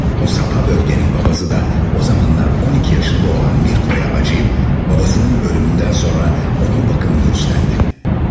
O sapa bölgenin papazı da o zamanlar 12 yaşında olan Mirko'ya acıyıp babasının ölümünden sonra onun bakımını üstlendi.